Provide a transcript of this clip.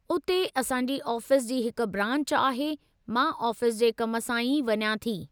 उते असांजी आफ़ीस जी हिक ब्रांच आहे, मां ऑफिस जे कम सां ई वञा थी।